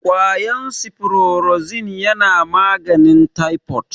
kwayan siforozin na maganin taifod